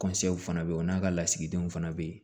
fana bɛ yen o n'a ka lasigidenw fana bɛ yen